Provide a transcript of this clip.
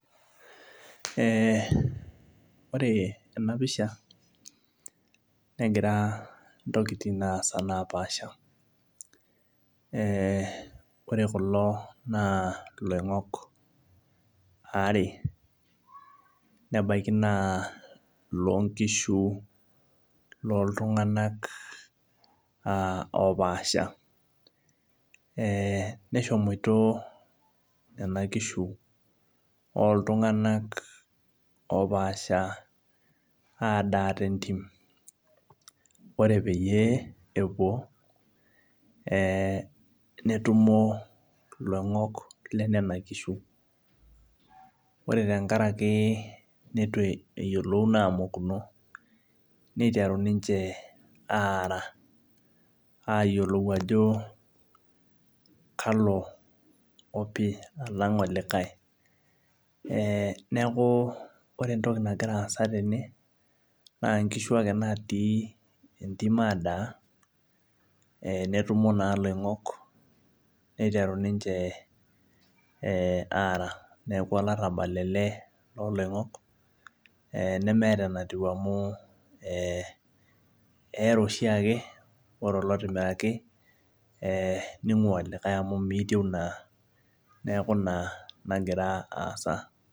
Ee ore ena pisha negira intokitin aas napaasha, ore kulo na iloining'ok aare, nebaiki naa iloonkishu loltung'ana opaasha , meshomoita Nena kishu oltung'ana opaasha adaa tentim, ore peyie epuo, netumo iloining'ok le nena kishu, ore tenkaraki Nena kishu neitu emokuno ayiolouno, neiteru ninche aara ayiolou ajo kalo opi alang' olikai. Neaku ore entoki nagira aasa tene naa inkishu ake natii entim aadaa, netumo naa iloing'ok aara, neaku olarabal ele loo iloing'ok nemeata enatiu amu keara oshiake ore olotimiraki neing'ua olikai amu meitieu naa neaku Ina naa nagira aasa.